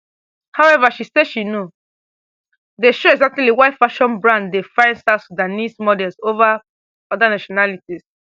however she say she no dey sure exactly why fashion brand dey find south sudanese models over oda nationalities